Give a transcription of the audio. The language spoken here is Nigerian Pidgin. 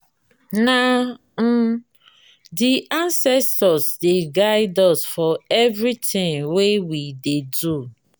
na um di anscestors dey guide us for everytin we dey do.